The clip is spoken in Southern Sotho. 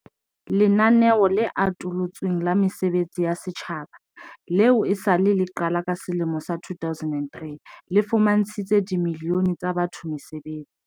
Lenaneo le Ato lotsweng la Mesebetsi ya Setjhaba, leo e sa le le qala ka selemo sa 2003, le fumantshitse dimilione tsa batho mesebetsi.